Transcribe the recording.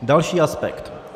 Další aspekt.